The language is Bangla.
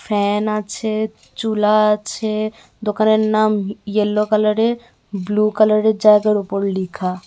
ফ্যান আছে চুলা আছে দোকানের নাম ইয়েলো কালারের ব্লু কালারের জায়গার উপর লিখা।